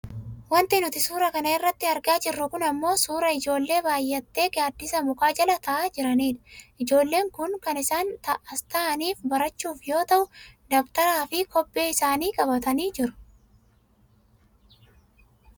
Wanti nuti suura kana irratti argaa jirru kun ammoo suuraa ijoollee baayyattee gaaddisa mukaa jala taa'aa jiranidha. Ijoolleen kun kan isaan as taa'aniif barachuuf yoo ta'u dabtaraaf kobbee isaani qabatanii jiru.